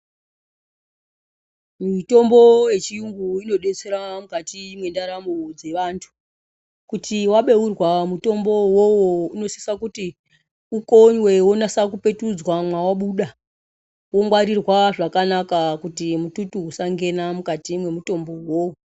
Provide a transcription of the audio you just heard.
Mitombo ye chiyungu ino detsera mukati me ndaramo dze vantu kuti wa beurwa mutombo uwowo uno sisa kuti ukonywe wonatsa ku petudzwa mwawa buda wo ngwarirwa zvakanaka kuti mututu usa ngena mukati mwe mutombo wo.